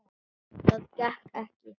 Það gekk ekki